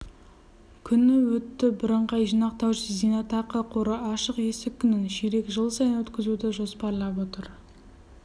күні өтті бірыңғай жинақтаушы зейнетақы қоры ашық есік күнін ширек жыл сайын өткізуді жоспарлап отыр